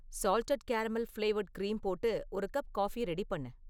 salted caramel flavoured cream போட்டு ஒரு cup coffee ready பண்ணு